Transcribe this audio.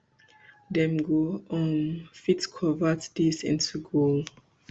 dem go um fit convert dis into goal